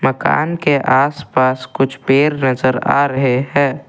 मकान के आसपास कुछ पेड़ नजर आ रहे हैं।